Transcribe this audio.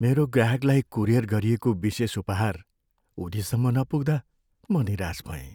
मेरो ग्राहकलाई कुरियर गरिएको विशेष उपहार उनीसम्म नपुग्दा म निराश भएँ।